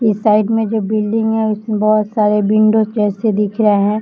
इस साइड मे जो बिल्डिंग है उसमे बहुत सारे विंडोज जैसे दिख रहे है।